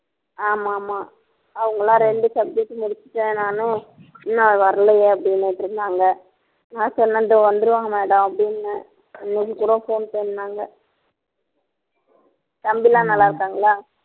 ஆமா ஆமா அவங்க எல்லாம் ரெண்டு subject முடிச்சுட்டேன் நானு இன்னும் வரலையே அப்படின்னுட்டிருந்தாங்க நான் சொன்னேன் இதோ வந்துருவாங்க madam அப்படின்னேன் இன்னைக்கு கூட phone பண்ணாங்க தம்பி எல்லாம் நல்லா இருக்காங்களா